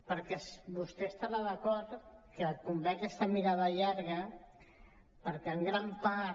perquè vostè deu estar d’acord que convé aquesta mirada llarga perquè en gran part